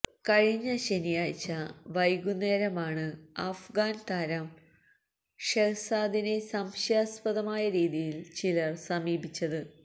കഴിഞ്ഞ ശനിയാഴ്ച്ച വൈകുന്നേരമാണ് അഫ്ഗാന് താരം ഷെഹ്സാദിനെ സംശയാസ്പദമായ രീതിയില് ചിലര് സമീപിച്ചത്